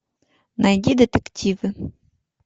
найди детективы